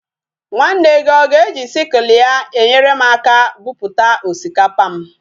Nwanne gi oga eji sickle ya enyerem aka buputa osikapa m?